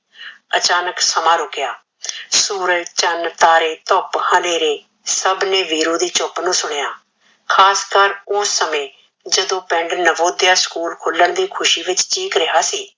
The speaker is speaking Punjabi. ਅਚਾਨਕ ਸਮਾਂ ਰੁਕਯਾ ਸੂਰਜ ਚਾਨ ਤਾਰੇ ਧੁਪ ਹਨੇਰੇ ਸਭ ਨੇ ਵੀਰੂ ਦੀ ਚੁਪ ਨੂ ਸੁਨ੍ਯਾ ਖਾਸ ਕਰ ਓਸ ਸਮੇ ਜਦੋ ਪਿੰਡ ਨਵੋਧ੍ਯ ਸਕੂਲ ਖੁਲਣ ਦੀ ਖੁਸ਼ੀ ਵਿਚ ਕਿਕ ਰਿਹਾ ਸੀ